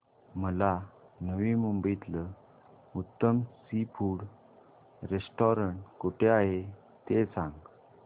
मला नवी मुंबईतलं उत्तम सी फूड रेस्टोरंट कुठे आहे ते सांग